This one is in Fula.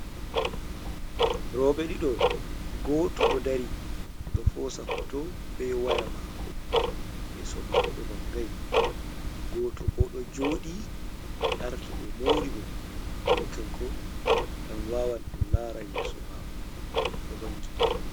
Rowɓe ɗiɗo gooto ɗo dari ,ɗo hoosa hooto be waya maako, yeeso maako vanngay. Gooto bo ɗo jooɗi ɓe arti ɓe moori mo, seyni kanko man wawan en laara yeeso maako ɗo vanngi.